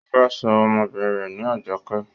ó fẹ́ sọ ọmọbìnrin rẹ̀ ní Ajoké